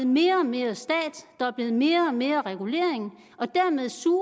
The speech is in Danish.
mere og mere stat der er blevet mere og mere regulering og dermed suger